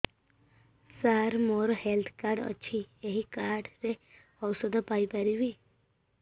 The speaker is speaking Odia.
ସାର ମୋର ହେଲ୍ଥ କାର୍ଡ ଅଛି ଏହି କାର୍ଡ ରେ ଔଷଧ ପାଇପାରିବି